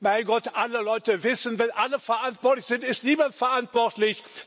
Mein Gott, alle Leute wissen, wenn alle verantwortlich sind, ist niemand verantwortlich.